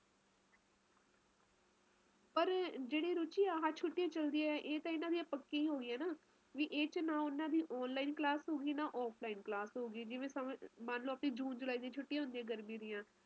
ਸਮੁੰਦਰੀ ਇਲਾਕਿਆਂ ਚ ਹੁੰਦਾ ਨਾ ਜਿਵੇ ਨਾ ਗਰਮੀ ਹੁੰਦੈ ਐ ਨਾ ਸਰਦੀ ਹੁੰਦੀ ਐ ਵਧੀਆ ਮੌਸਮ ਹੁੰਦਾ ਮਤਲਬ ਤੁਸੀ ਕੁਜ ਵੀ ਪਹਿਨ ਸਕਦੇਓ ਕੁਜ ਵੀ ਖਾ ਸਕਦੇ ਊ ਓਥੇ ਓਹਜਿਆ ਕੁਜ ਨਹੀਂ ਐ ਨਾ ਠੰਡ ਜ਼ਿਆਦਾ ਨਾ ਗਰਮੀ ਜ਼ਿਆਦਾ ਵਧੀਆ ਮਾਹੌਲ